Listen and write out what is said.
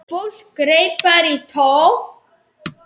Fólk greip bara í tómt.